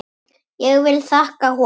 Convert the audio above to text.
Ég vil þakka honum.